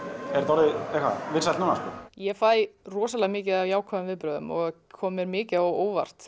orðið vinsælt núna ég fæ rosalega mikið af jákvæðum viðbrögðum og kom mér mikið á óvart